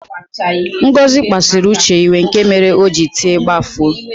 Ngozi kpasuru Uche iwe, nke mere o ji tie "gbafuo!"